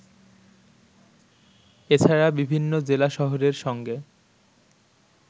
এছাড়া বিভিন্ন জেলা শহরের সঙ্গে